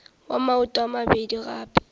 wa maoto a mabedi gape